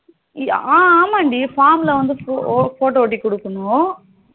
ஆமாண்டி form ல வந்து photo ஒட்டி குடுக்கணும்